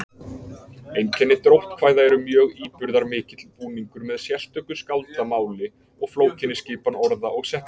Einkenni dróttkvæða eru mjög íburðarmikill búningur með sérstöku skáldamáli og flókinni skipan orða og setninga.